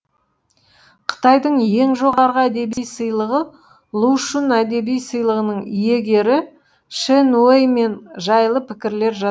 қытайдың ең жоғарғы әдеби сыйлығы лу шүн әдеби сыйлығының иегері шэн уэй мен жайлы пікірлер